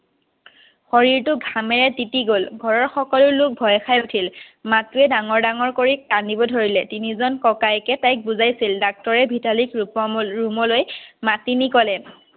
শৰীৰটো ঘামেৰে তিতি গ'ল ঘৰৰ সকলো লোক ভয় খাই উঠিল মাকে ডাঙৰ ডাঙৰ কৰি কান্দিব ধৰিলে তিনি জন ককায়েকে তাইক বুজাইছিল doctor ৰে ভিতালীক ৰুমলৈ মাতি নি ক'লে